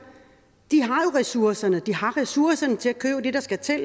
har ressourcerne de har ressourcerne til at købe det der skal til at